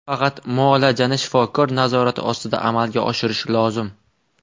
Faqat muolajani shifokor nazorati ostida amalga oshirish lozim.